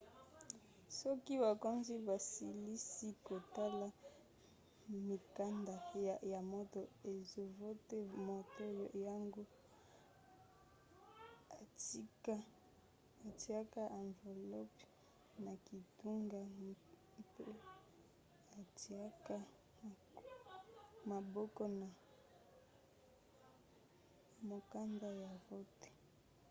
soki bakonzi basilisi kotala mikanda ya moto azovote moto yango atiaka anvelope na kitunga mpe atiaka maboko na mokanda ya vote